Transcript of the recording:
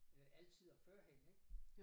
Øh altid og førhen ik